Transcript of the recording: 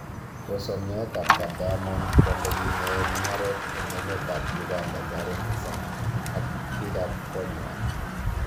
Kosom nyoetab kat Diamond kwondanyin neyoe mung'aret en emetab Uganda Zari Hassan ak bigab konywan